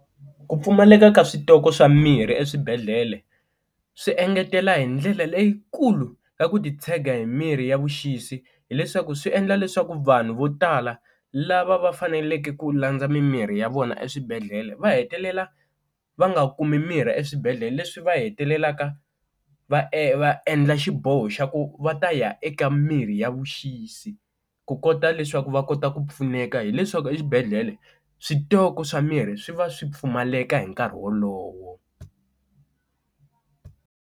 Ku pfumaleka ka switoko swa mirhi eswibedhlele swi engetela hi ndlela leyikulu ka ku titshega hi mirhi ya vuxisi hileswaku swi endla leswaku vanhu vo tala lava va faneleke ku landza mimirhi ya vona eswibedhlele, va hetelela va nga kumi mirhi eswibedhlele leswi va hetelelaka va e va endla xiboho xa ku va ta ya eka mirhi ya vuxisi, ku kota leswaku va kota ku pfuneka hileswaku exibedhlele switoko swa mirhi swi va swi pfumaleka hi nkarhi wolowo.